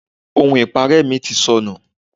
Ohun ipare mi ti sọnù.